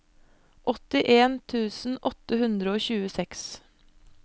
åttien tusen åtte hundre og tjueseks